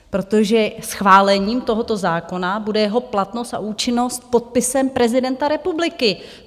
Protože schválením tohoto zákona bude jeho platnost a účinnost podpisem prezidenta republiky.